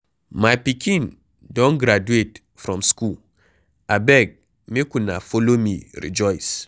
My pikin don graduate from school abeg make una follow me rejoice